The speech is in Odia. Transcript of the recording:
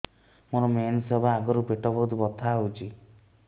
ମୋର ମେନ୍ସେସ ହବା ଆଗରୁ ପେଟ ବହୁତ ବଥା ହଉଚି